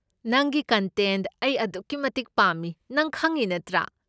ꯅꯪꯒꯤ ꯀꯟꯇꯦꯟꯠ ꯑꯩ ꯑꯗꯨꯛꯀꯤ ꯃꯇꯤꯛ ꯄꯥꯝꯃꯤ ꯅꯪ ꯈꯪꯢ ꯅꯠꯇ꯭ꯔꯥ?